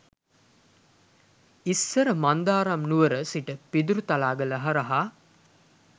ඉස්සර මන්දාරම් නුවර සි‍ට පිදුරුතලාගල හරහා